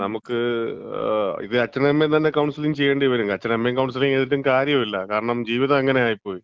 നമുക്ക് ഇത്, അച്ഛനേം അമ്മേം തന്നെ കൗൺസിലിങ് ചെയ്യേണ്ടി വരും, അച്ഛനേം അമ്മേം തന്നെ കൗൺസിലിങ് ചെയ്തിട്ടും കാര്യല്യ. കാരണം ജീവിതം അങ്ങനെ ആയിപ്പോയി.